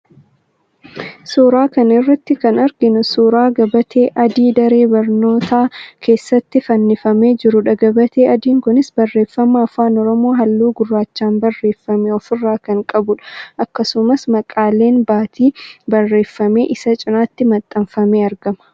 Suuraa kana irratti kan arginu suuraa gabatee adii daree barnootaa keessatti fannifamee jirudha. Gabatee adiin kunis, barreeffama Afaan Oromoo halluu gurraachaan barreeffame of irraa kan qabudha. Akkasumas, maqaaleen baatii barreeffamee isa cinaatti maxxanfamee argama.